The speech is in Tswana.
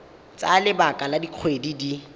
tsaya lebaka la dikgwedi di